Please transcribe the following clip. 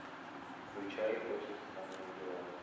включай очень странные дела